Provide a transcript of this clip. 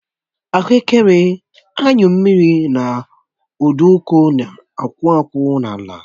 Ahuekere, anyụ mmiri na nduku na-akwụ akwụ n'ala